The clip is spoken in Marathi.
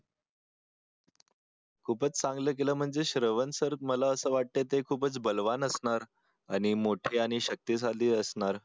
खूपच चांगलं केलं म्हणजे श्रवण सर मला असं वाटते ते खूपच बलवान असणार आणि मोठे आणि शक्तीशाली असणार